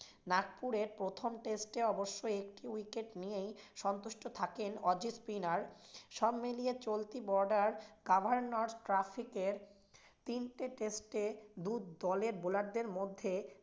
নাগপুরের প্রথম test এ অবশ্য একটি wicket নিয়েই সন্তুষ্ট থাকেন spinner সবমিলিয়ে চলতি তিনটি test দু দলের bowler দের মধ্যে